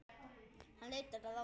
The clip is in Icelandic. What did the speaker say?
Hann leitar að Ásu.